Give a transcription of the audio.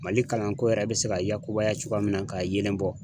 Mali kalanko yɛrɛ bɛ se ka yakubaya cogoya min na ka yeelen bɔ